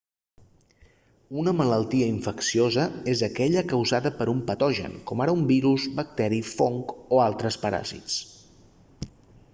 una malaltia infecciosa és aquella causada per un patogen com ara un virus bacteri fong o altres paràsits